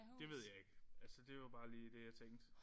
Det ved jeg ikke. Altså det var bare lige det jeg tænkte